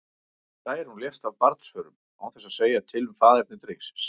Særún lést af barnsförum, án þess að segja til um faðerni drengsins.